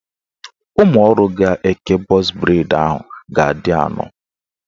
Ụmụọrụ ga-eke bọz breid ahụ ga-adị anọ